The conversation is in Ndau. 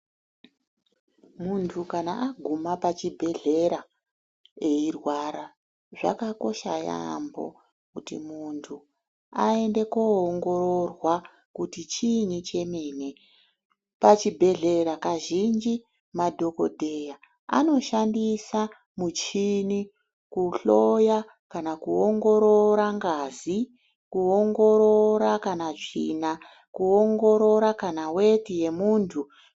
Muntu kana aguma pachibhehlera eirwara zvakakosha yaamho kuti munhu aende koongororwa kuti chiinyi chemene ,pachibhehleya kazhinji madhokodheya anoshandisa muchini kuhloya kana kuongorora ngazi, kuongoorora kana tsvina ,kuongorora kan weti yemunhu.